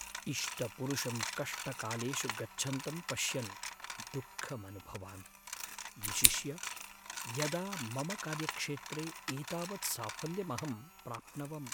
इष्टपुरुषं कष्टकालेषु गच्छन्तं पश्यन् दुःखमनुभवामि, विशिष्य यदा मम कार्यक्षेत्रे एतावत् साफल्यमहं प्राप्नवम्।